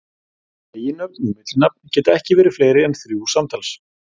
Eiginnöfn og millinafn geta ekki verið fleiri en þrjú samtals.